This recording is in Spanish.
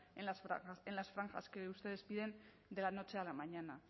en las franjas que ustedes piden de la noche a la mañana